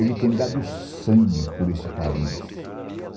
Ele tem dado sangue por este país.